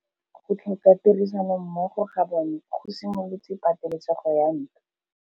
Go tlhoka tirsanommogo ga bone go simolotse patêlêsêgô ya ntwa.